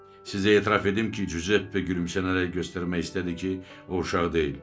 Sizə etiraf edim ki, Cüzeppe gülümsənərək göstərmək istədi ki, o uşaq deyil.